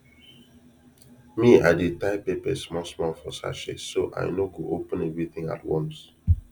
me i dey tie pepper small small for sachet so i no go open everything at once